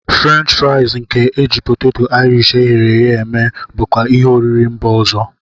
French friaz nke e ji poteto Irish eghere eghe eme bụkwa ihe oriri mba ọzọ.